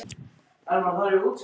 Nú, rétt eins og menn hósta.